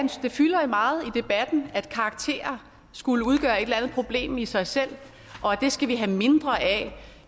det fylder meget i debatten at karakterer skulle udgøre et eller andet problem i sig selv og at det skal vi have mindre af